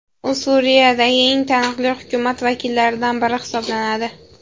U Suriyadagi eng taniqli hukumat vakillaridan biri hisoblanadi.